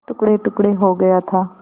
टुकड़ेटुकड़े हो गया था